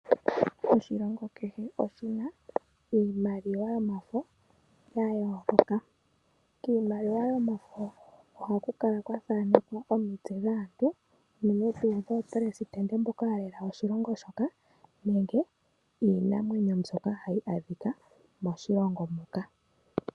Oshilongo kehe oshi na iimaliwa yomafo ya yooloka. Kiimaliwa yomafo ohaku kala kwa thaanekwa omitse dhaantu, unene tuu dhaaleli shilongo mboka ya lela oshilongo shoka, nenge iinamwenyo mbyoka hayi adhika moshilongo moka.